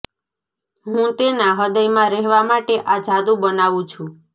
હું તેના હૃદયમાં રહેવા માટે આ જાદુ બનાવું છું